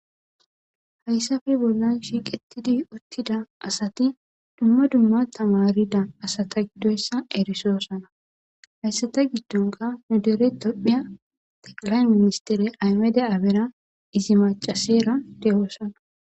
Hayisafe bollan shiiqetidi uttida asati dumma dumma tamarida asata giddoyssa erisoosana hayssata giddonka nudere topphiya taqalayn ministere aymede aabera izi macasera dehoosana